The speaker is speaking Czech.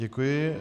Děkuji.